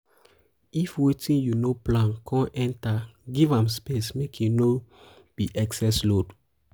if wetin yu no plan con enter giv am space mek e no be excess load